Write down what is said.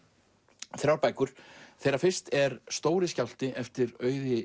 þrjár bækur þeirra fyrst er stóri skjálfti eftir Auði